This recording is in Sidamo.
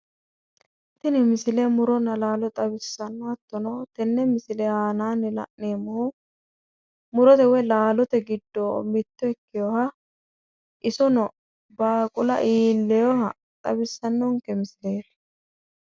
Tini misile muronna alaalo xawissanno. Hattono tenne misile aanaanni la'neemmohu murote woy laalote giddo mitto ikkewoha baaqula iillewoha xawissannonke misileeti.